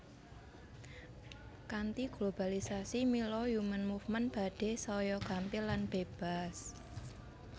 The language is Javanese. Kanthi globalisasi mila human movement badhé saya gampil lan bébas